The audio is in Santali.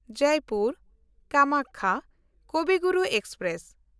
ᱡᱚᱭᱯᱩᱨ–ᱠᱟᱢᱟᱠᱠᱷᱟ ᱠᱚᱵᱤ ᱜᱩᱨᱩ ᱮᱠᱥᱯᱨᱮᱥ